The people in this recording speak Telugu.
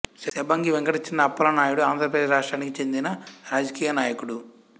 శంబంగి వెంకట చిన అప్పలనాయుడు ఆంధ్రప్రదేశ్ రాష్ట్రానికి చెందిన రాజకీయ నాయకుడు